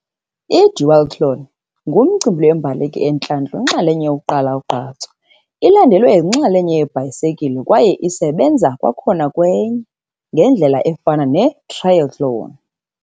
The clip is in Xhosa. Duathlon ngumcimbi lweembaleki entlantlu inxalenye yokuqala ugqatso, ilandelwe yinxalenye ibhayisikile kwaye isebenza kwakhona kwenye, ngendlela efana netrayethloni.